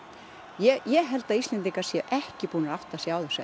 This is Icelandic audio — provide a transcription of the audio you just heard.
ég held að Íslendingar séu ekki búnir að átta sig á þessu